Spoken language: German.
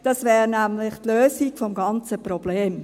Das wäre nämlich die Lösung des ganzen Problems.